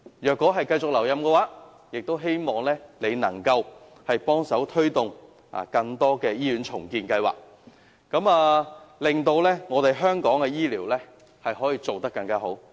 如你能繼續留任，我們希望你能夠幫忙推動更多的醫院重建計劃，令香港的醫療服務做得更好。